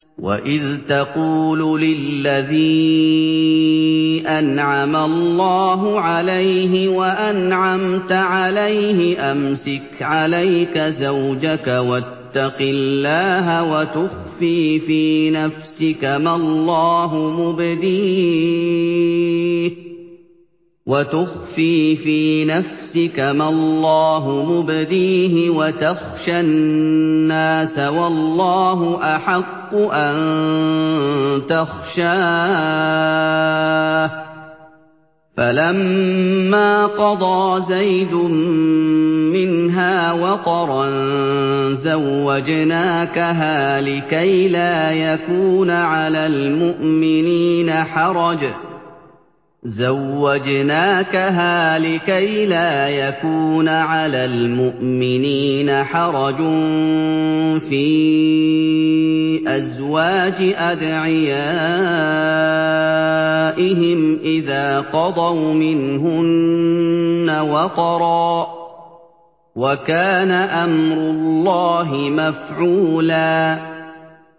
وَإِذْ تَقُولُ لِلَّذِي أَنْعَمَ اللَّهُ عَلَيْهِ وَأَنْعَمْتَ عَلَيْهِ أَمْسِكْ عَلَيْكَ زَوْجَكَ وَاتَّقِ اللَّهَ وَتُخْفِي فِي نَفْسِكَ مَا اللَّهُ مُبْدِيهِ وَتَخْشَى النَّاسَ وَاللَّهُ أَحَقُّ أَن تَخْشَاهُ ۖ فَلَمَّا قَضَىٰ زَيْدٌ مِّنْهَا وَطَرًا زَوَّجْنَاكَهَا لِكَيْ لَا يَكُونَ عَلَى الْمُؤْمِنِينَ حَرَجٌ فِي أَزْوَاجِ أَدْعِيَائِهِمْ إِذَا قَضَوْا مِنْهُنَّ وَطَرًا ۚ وَكَانَ أَمْرُ اللَّهِ مَفْعُولًا